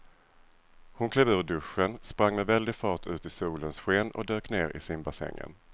Hon klev ur duschen, sprang med väldig fart ut i solens sken och dök ner i simbassängen.